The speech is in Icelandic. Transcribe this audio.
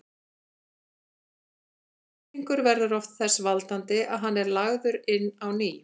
Þessi þrýstingur verður oft þess valdandi að hann er lagður inn á ný.